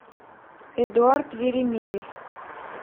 эдуард еремеев